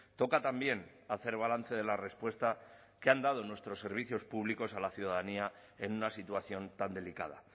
toca también hacer balance de la respuesta que han dado nuestros servicios públicos a la ciudadanía en una situación tan delicada